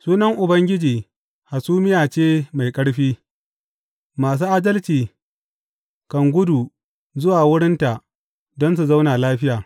Sunan Ubangiji hasumiya ce mai ƙarfi; masu adalci kan gudu zuwa wurinta don su zauna lafiya.